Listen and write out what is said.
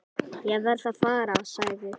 Ég verð að fara, sagði